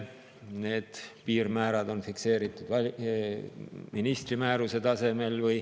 Need piirmäärad on fikseeritud ministri määruse tasemel.